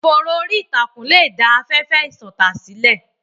Ìfòòró orí ìtàkùn lè dá afẹ́fẹ́ ìṣọ̀tá sílẹ̀.